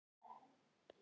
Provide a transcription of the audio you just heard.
En ég er sek.